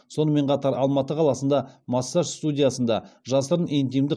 сонымен қатар алматы қаласында массаж студиясында жасырын интимдік